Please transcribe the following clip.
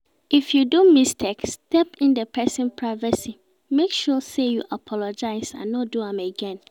If you do mistake step in di persin privacy make sure say you apologize and no do am again